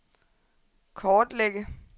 kortlægge